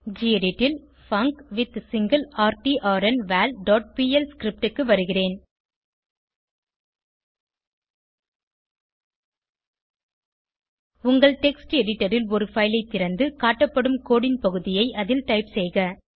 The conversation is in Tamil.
கெடிட் ல் பங்க்வித்சிங்கிளர்ட்ன்வால் டாட் பிஎல் ஸ்கிரிப்ட் க்கு வருகிறேன் உங்கள் டெக்ஸ்ட் எடிட்டர் ல் ஒரு பைல் ஐ திறந்து காட்டப்படும் கோடு ன் பகுதியை அதில் டைப் செய்க